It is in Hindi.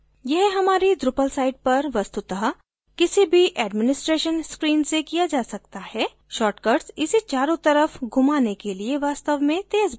यह हमारी drupal site पर वस्तुतः किसी भी administration screen से किया जा सकता है shortcuts इसे चारों तरफ घुमाने के लिए वास्तव में तेज़ बनाते हैं